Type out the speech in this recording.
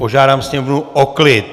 Požádám sněmovnu o klid!